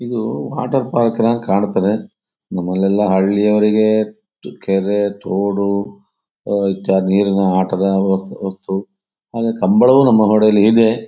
ಇದು water park ನ ಹಾಗ್ ಕಾಣ್ತದೆ ನಮ್ಮಲ್ಲೆಲ್ಲ ಹಳ್ಳಿಯವರಿಗೆ ಇದು ಕೆರೆ ತೋಡು ಇತ್ಯಾದಿ ನೀರಿನ ಆಟದ ವಸ್ತು ಆದರೆ ಕಂಬಳವು ನಮ್ಮಲ್ಲಿ ಇದೆ.